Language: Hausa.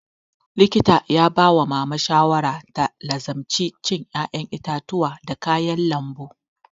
Likita ya ba wa mama shawara da ta lazimci cin ƴaƴen itatuwa da kayan lambu